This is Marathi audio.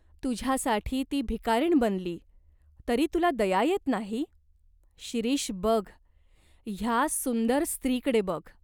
तुझ्यासाठी ती भिकारीण बनली, तरी तुला दया येत नाही ? शिरीष बघ, ह्या सुंदर स्त्रीकडे बघ.